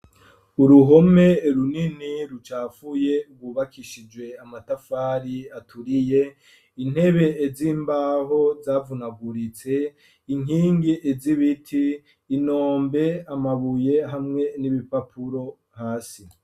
Uruhome runini rucafuye rwubakishije amatafari aturiye, intebe z'imbaho zavunaguritse, inkingi z'ibiti, inombe, amabuye hamwe n'ibipapuro hasi.